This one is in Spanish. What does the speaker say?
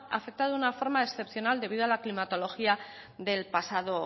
afectado de una forma excepcional debido a la climatología del pasado